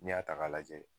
N'i y'a ta k'a lajɛ